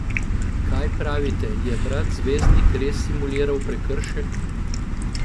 Kaj pravite, je brat zvezdnik res simuliral prekršek?